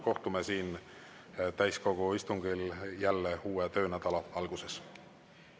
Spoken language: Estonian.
Kohtume siin täiskogu istungil jälle uue töönädala alguses.